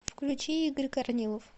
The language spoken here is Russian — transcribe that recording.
включи игорь корнилов